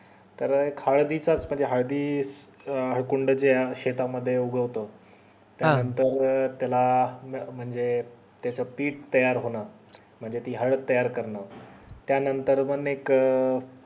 तर हळदी चा च म्हणजे हळद हळदी हळकुंड येतात जे शेता मध्ये उगवतो त्यानंतर अं त्याला म्हणजे त्याच पिट तयार होणार म्हणजे ती हळद तयार करणार त्या नंतर ना म एक